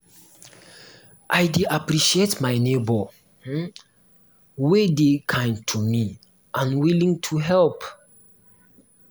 i dey appreciate my neighbor um wey um dey kind to me and willing to help me.